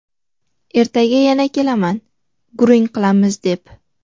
ertaga yana kelaman gurung qilamiz deb.